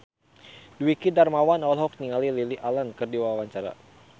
Dwiki Darmawan olohok ningali Lily Allen keur diwawancara